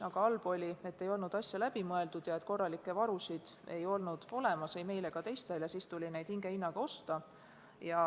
Aga halb oli see, et asi ei olnud läbi mõeldud, korralikke varusid polnud ei meil ega teistel ja varustust tuli osta hingehinnaga.